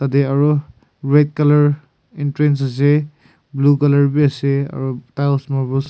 Tey aro red colour entrance asa blue colour beasa aro tiles marbles .